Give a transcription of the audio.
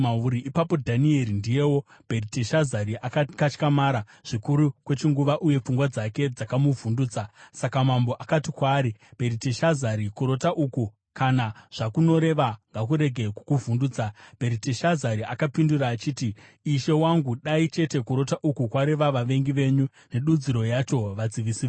Ipapo Dhanieri (ndiyewo Bheriteshazari) akakatyamara zvikuru kwechinguva uye pfungwa dzake dzakamuvhundutsa. Saka mambo akati kwaari, “Bheriteshazari, kurota uku kana zvakunoreva ngakurege kukuvhundutsa.” Bheriteshazari akapindura achiti, “Ishe wangu, dai chete kurota uku kwareva vavengi venyu nedudziro yacho vadzivisi venyu!